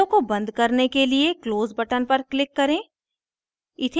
window को बंद करने के लिए close button पर click करें